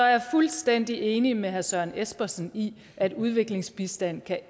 jeg fuldstændig enig med herre søren espersen i at udviklingsbistand